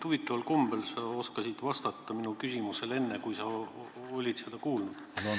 Huvitaval kombel sa oskasid vastata minu küsimusele enne, kui sa olid seda kuulnud.